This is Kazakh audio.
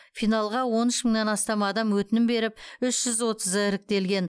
финалға он үш мыңнан астам адам өтінім беріп үш жүз отызы іріктелген